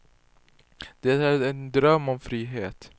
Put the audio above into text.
Det är en dröm om frihet.